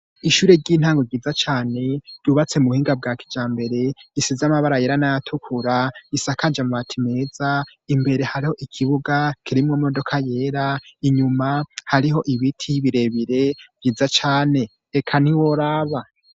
Ishure ry'intango ryiza cane, ryubatse mu buhinga bwa kijambere, risize amabara yera n'ayatukura, isakaje amabati meza, imbere hariho ikibuga kirimwo imodoka yera, inyuma hariho ibiti birebire vyiza cane, eka ntiworaba.